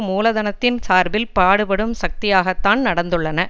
மூலதனத்தின் சார்பில் பாடுபடும் சக்தியாகத்தான் நடந்துள்ளன